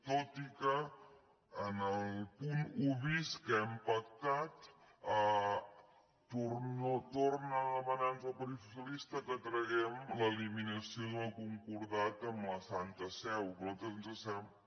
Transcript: tot i que en el punt un bis que hem pactat torna a demanar nos el partit socialista que traguem l’eliminació del concordat amb la santa seu que a nosaltres ens sembla